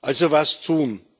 Also was tun?